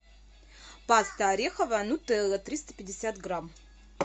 паста ореховая нутелла триста пятьдесят грамм